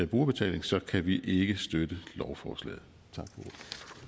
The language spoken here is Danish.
brugerbetaling så kan vi ikke støtte lovforslaget